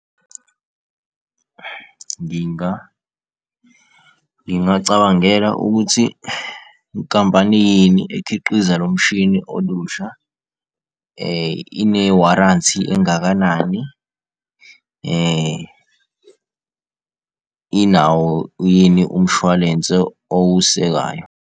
Ngingacabangela ukuthi enkampanini ekhiqiza lo mshini olusha ine-warranty engakanani inawo yini umshwalense owusekayo?